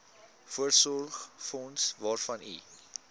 voorsorgsfonds waarvan u